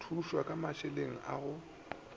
thušwa ka mašeleng a go